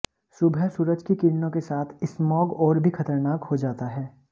सुबह सूरज की किरणों के साथ स्मॉग और भी खतरनाक हो जाता है